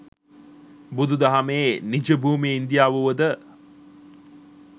බුදු දහමේ නිජ භූමිය ඉන්දියාව වුවද,